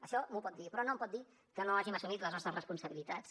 això m’ho pot dir però no em pot dir que no hàgim assumit les nostres responsabilitats